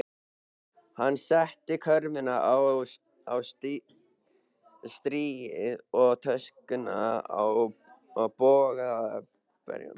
Hann setti körfuna á stýrið og töskuna á bögglaberann.